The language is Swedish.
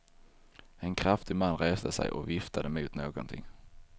En kraftig man reste sig och viftade mot någonting.